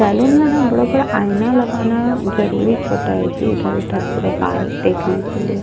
salon में न बड़ा -बड़ा आईना लगाना जरूरिच होता है जी इधर -उधर पूरा बाल देखने के लिए --